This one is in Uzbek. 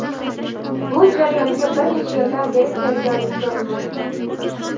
Bu jarayonga bir necha yildan beri tayyorgarlik ko‘rilmoqda.